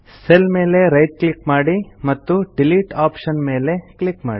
cell ಮೇಲೆ right click ಮಾಡಿ ಮತ್ತು ಡಿಲೀಟ್ ಆಪ್ಷನ್ ಮೇಲೆ ಕ್ಲಿಕ್ ಮಾಡಿ